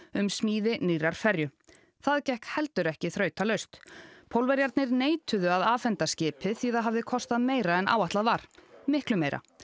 um smíði nýrrar ferju það gekk heldur ekki þrautalaust Pólverjarnir neituðu að afhenda skipið því það hafði kostað meira en áætlað var miklu meira